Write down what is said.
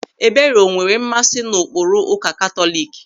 Ebere o nwere mmasị n'ụkpụrụ ụka Katọlik?